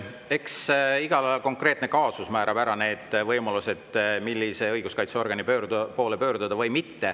Eks iga konkreetne kaasus määrab ära need võimalused, millise õiguskaitseorgani poole saab pöörduda.